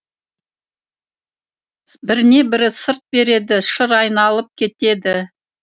біріне бірі сырт береді шыр айналып кетеді